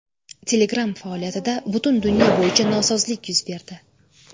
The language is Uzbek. Telegram faoliyatida butun dunyo bo‘yicha nosozlik yuz berdi.